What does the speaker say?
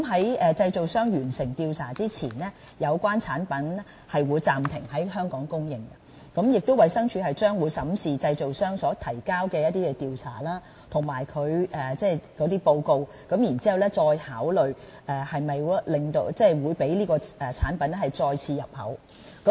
在製造商完成調查之前，有關產品會暫停在香港供應，衞生署亦會審視製造商所提交的調查報告，再考慮是否讓這種產品再次進口。